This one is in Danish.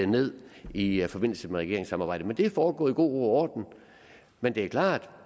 ned i forbindelse med regeringssamarbejdet det er foregået i god ro og orden men det er klart